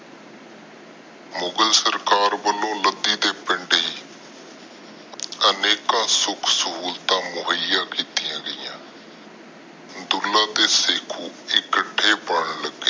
ਮੁਗ਼ਲ ਸਰਕਾਰ ਵਲੋਂ ਲੱਦੀ ਦੀ ਪਿੰਡ ਹੀ ਅਨੇਕਾਂ ਸੁਖ ਸਹੂਲਤਾਂ ਮੋਹਿਆ ਕੀਤੀਆਂ ਗਈਆਂ। ਦੁੱਲਾ ਤੇ ਸ਼ੱਕੂ ਇਕੱਠੇ ਪਾਲਦੇ